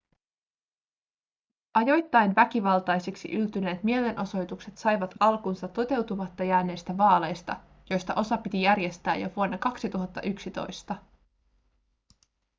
ajoittain väkivaltaisiksi yltyneet mielenosoitukset saivat alkunsa toteutumatta jääneistä vaaleista joista osa piti järjestää jo vuonna 2011